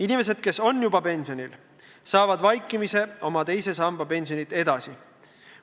Inimesed, kes on juba pensionil, saavad vaikimisi oma teise samba pensionit edasi.